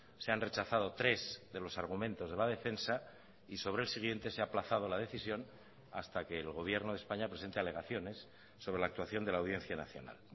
se han rechazado tres de los argumentos de la defensa y sobre el siguiente se ha aplazado la decisión hasta que el gobierno de españa presente alegaciones sobre la actuación de la audiencia nacional